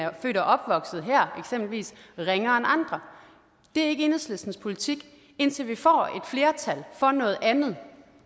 er født og opvokset her ringere end andre det er ikke enhedslistens politik og indtil vi får et flertal for noget andet